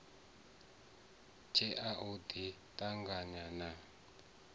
tshea u ḓi ṱanganya na